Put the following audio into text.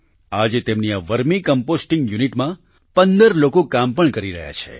આજે તેમની આ વર્મી કમ્પોસ્ટિંગ યુનિટમાં 15 લોકો કામ પણ કરી રહ્યા છે